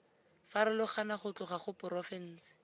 farologana go tloga go porofense